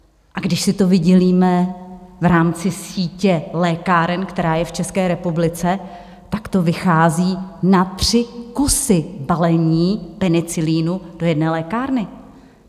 A když si to vydělíme v rámci sítě lékáren, která je v České republice, tak to vychází na tři kusy balení penicilinu do jedné lékárny!